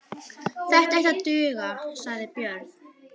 Þetta ætti að duga, sagði Björn.